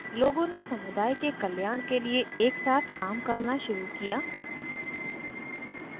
लोगों ने समुदाय के कल्याण के लिए एक साथ काम करना शुरू किया